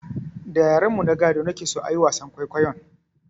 Da yaren mu na gado na ke so a yi wasan kwaikwayon